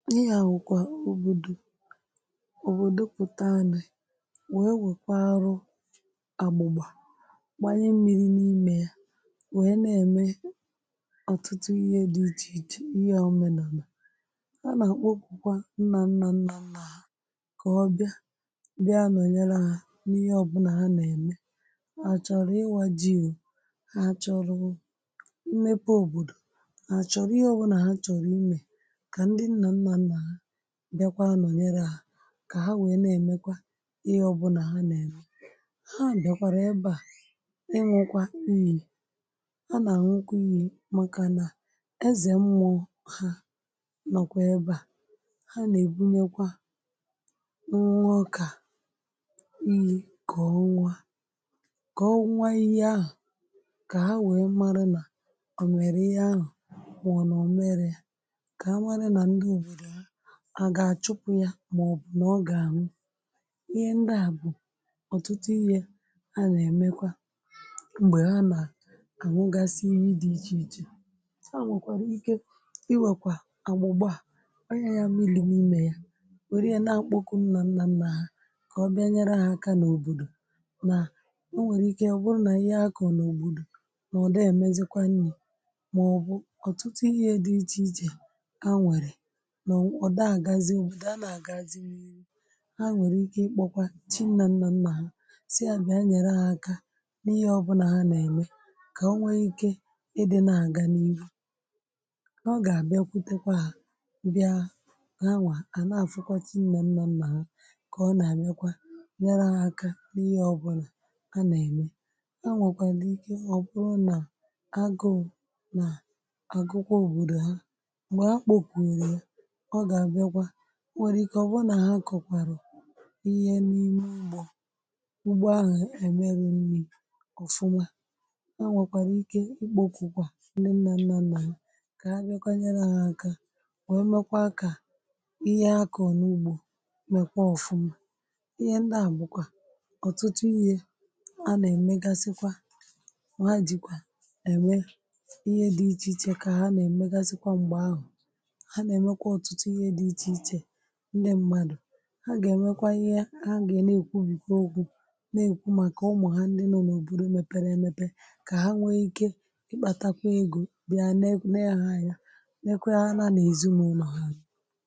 Na ihe a bụkwa òbòdò ọbọdọ pụ̀ta nụ wèe weekawarụ àgbụ̀gbà gbànye mmi̇ri̇ n’imė ya wèe na-ème ọ̀tụtụ ihė dị ichè ichè ihe ọmena anà a nà-àkpọkwụ kwa nnȧ nnȧ nnȧ nnȧ kà ọbịa bịa nọ̀nyere ha n’ihe ọbụnà ha nà-ème ha chọ̀rọ̀ ịwȧ ji ọ ha chọ̀rọ̀ mepe òbòdò ha chọ̀rọ̀ ihe ọbụnà ha chọ̀rọ̀ imė ka di nna nna nna ha bịakwa nọ̀nyere hà kà ha wèe na-èmekwa ihe ọbụnà ha nà-ème ha bèkwàrà ebe à ịnwụ̇kwa iyi̇ ha nà ànwụkwa iyi̇ màkà nà ezè mmụọ ha nọkwa ebe à ha nà-èbunyekwa nwa ọkà iyi̇ kọ̀ọ ọnwụọ kọ̀ọ ọnwụọ iyi ahụ̀ kà ha wèe marụ nà ọ̀ mèrè ihe ahụ̀ ma ọ na ọmeri ya ka amara nà ndi ọbọ̀dọ à gà-àchụpụ ya mà ọ̀ bụ̀ nà ọ gà ànwụ ihe ndịa bụ̀ ọ̀tụtụ ihė a nà-èmekwa m̀gbè ha nà-àṅụgasị iyi dị ichè ichè ha nwèkwàrà ike iwèkwà àgbụ̀gba tanye yȧ mmiri n’ime ya wère ya na-akpọkụ nnà nnà nnà ha kà ọ bịa nyere ha akȧ n’òbòdò nà o nwèrè ike ọ bụrụ nà ihe akọ̀ n’òbòdò nà ọ̀ dị èmezikwa nni̇ mà ọ̀ bụ̀ ọ̀tụtụ ihe dị ichè ichè ha nwere na ọda agazi ọbọdọ adighi agazi n’irụ ha nwere ike ikpọkwà chi nnà nnà nnà ha sị a bị̀a nyere ha akà n’ihe ọbụnà ha nà-ème kà onwe ike ịdị na-àga n’ihụ ọ gà-àbịakwụtakwà ha bịà ha nwa à na-afụkwà chi nnà nnà nnà ha kà ọ nà-àmekwa nyèrè hà aka n’ihe ọbụnà ha nà-ème ha nwèkwàlà ike ọ̀ bụrụ nà agụ̀ụ̀ nà àgụkwọ̀ òbòdò ha mgbe ha kpọkụrụ ya ọ ga abiakwa ọ nwèrè ike ọ̀bụrụ̀ nà ha akọ̀kwàrụ̀ ihe n’ime ụgbọ̇ ugbo ahụ̀ èmerọ nni̇ ọ̀fụma ha nwèkwàrà ike ikpo kwụkwà ndị nnȧnnȧ nà ya kà ha biankwa nyere ha aka wee mekwaa kà ihe akọ̀ n’ugbȯ mekwaa ọ̀fụma ihe ndị à bụ̀kwà ọ̀tụtụ ihė a nà-emegasikwa ha jikwà ème ihe dị̇ ichè ichè kà ha nà-èmegasikwa m̀gbè ahụ̀ ha na emekwa ọtụtụ ihe di iche iche ndi mmadụ ha ga-enwekwa ihe ha ga na ekwụbikwa okwu nà ekwu màkà ụmụ̀ ha ndị nọ̀ n’òbòdò mepere emepe kà ha nwe ike ikpatakwa egȯ bịa nee ha anya neekwara ha na ezinaụlọ ha.